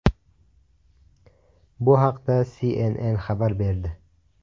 Bu haqda CNN xabar berdi .